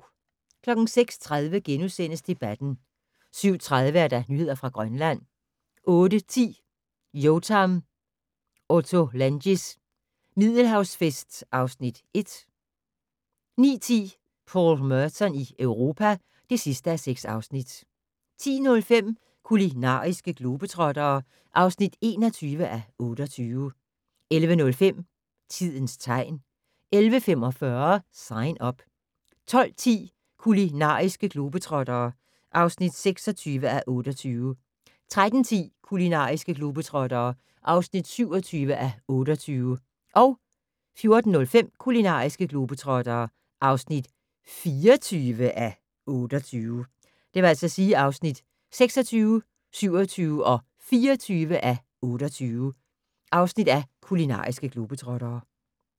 06:30: Debatten * 07:30: Nyheder fra Grønland 08:10: Yotam Ottolenghis Middelhavsfest (Afs. 1) 09:10: Paul Merton i Europa (6:6) 10:05: Kulinariske globetrottere (21:28) 11:05: Tidens tegn 11:45: Sign Up 12:10: Kulinariske globetrottere (26:28) 13:10: Kulinariske globetrottere (27:28) 14:05: Kulinariske globetrottere (24:28)